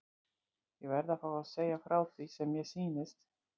Ég verð að fá að segja frá því sem mér sýnist.